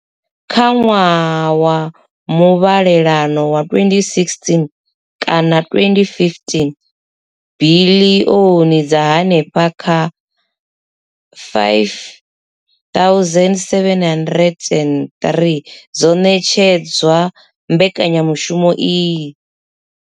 Kha ṅwaha wa muvhalelano wa 2016 kana 2015, biḽioni dza henefha kha R5 703 dzo ṋetshedzwa mbekanyamushumo iyi.